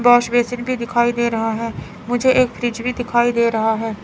Wash basin भी दिखाई दे रहा है मुझे एक फ्रिज भी दिखाई दे रहा है।